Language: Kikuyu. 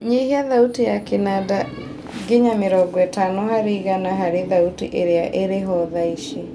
nyihia thauti ya kĩnanda nginya mĩrongo ĩtanoa harĩ igana harĩ thauti ĩrĩa ĩriho thaici